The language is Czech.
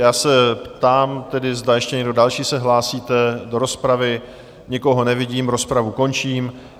Já se ptám tedy, zda ještě někdo další se hlásíte do rozpravy: Nikoho nevidím, rozpravu končím.